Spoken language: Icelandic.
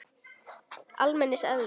almenns eðlis.